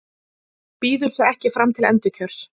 Býður sig ekki fram til endurkjörs